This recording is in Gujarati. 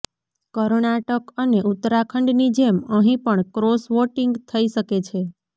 કર્ણાટક અને ઉત્તરાખંડની જેમ અહીં પણ ક્રોસ વોટિંગ થઈ શકે છે